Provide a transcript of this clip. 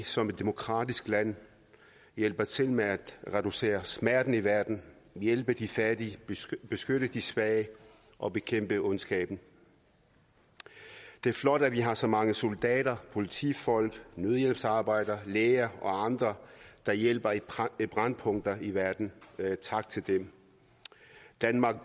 som et demokratisk land hjælper til med at reducere smerten i verden hjælpe de fattige beskytte de svage og bekæmpe ondskaben det er flot at vi har så mange soldater politifolk nødhjælpsarbejdere læger og andre der hjælper i brændpunkter i verden tak til dem danmarks